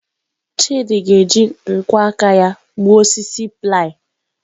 Chidị ga-eji nkwọ aka ya gbuo osisi ply.